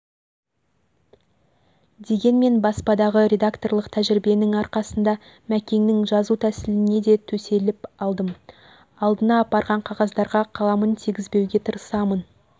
дегенмен баспадағы редакторлық тәжірибенің арқасында мәкеңнің жазу тәсілінеде төселіп алдым алдына апарған қағаздарға қаламын тигізбеуге тырысамын